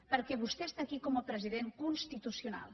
perquè vostè és aquí com a president constitucional